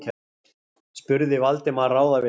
spurði Valdimar ráðvilltur.